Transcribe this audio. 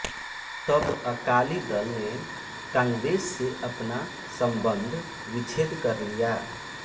तब अकाली दल ने कांग्रेस से अपना संबंध विच्छेद कर लिया